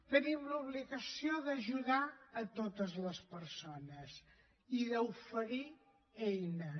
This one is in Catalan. tenim l’obligació d’ajudar totes les persones i d’oferir eines